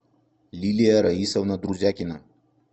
лилия раисовна друзякина